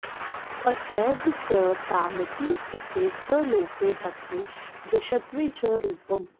असैध् स् तामिति स्थिते सलोपे धत्वे जश्त्वे च रूपम्